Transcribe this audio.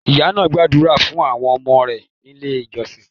Ìyá náà gbàdúrà fún àwọn ọmọ rẹ̀ nílé ìjọsìn.